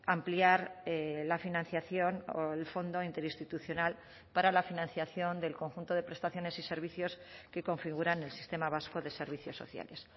ampliar la financiación o el fondo interinstitucional para la financiación del conjunto de prestaciones y servicios que configuran el sistema vasco de servicios sociales